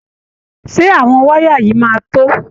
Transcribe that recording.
Ṣé àwọn wáyà yìí máa to?